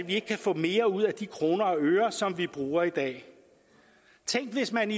ikke kan få mere ud af de kroner og øre som vi bruger i dag tænk hvis man